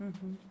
Uhum.